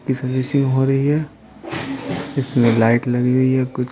इसरिंग हो रही है इसमें लाइट लगी हुई है कुछ --